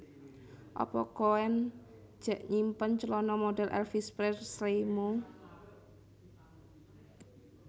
Apa koen jek nyimpen celono modhel Elvis Presley mu